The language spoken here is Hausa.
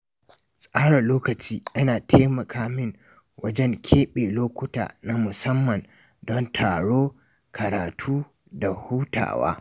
Tsara lokaci yana taimaka min wajen keɓe lokuta na musamman don taro, karatu, da hutawa.